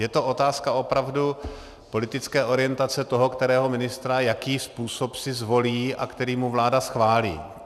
Je to otázka opravdu politické orientace toho kterého ministra, jaký způsob si zvolí a který mu vláda schválí.